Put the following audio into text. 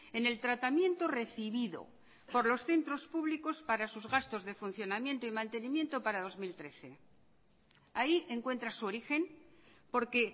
en el tratamiento recibido por los centros públicos para sus gastos de funcionamiento y mantenimiento para dos mil trece ahí encuentra su origen porque